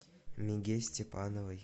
миге степановой